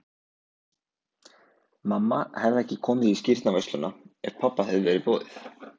Mamma hefði ekki komið í skírnarveisluna ef pabba hefði verið boðið.